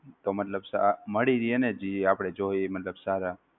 તો મતલબ staff મળી રહે ને? જી આપણે જોઈ એ મતલબ સારા.